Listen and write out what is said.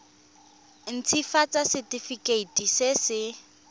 nt hafatsa setefikeiti se se